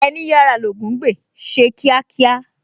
Ẹní yára l'Ògún ń gbè, ṣe kíákíá!